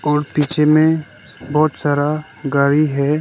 और पीछे में बहुत सारा गाड़ी है।